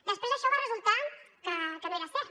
després això va resultar que no era cert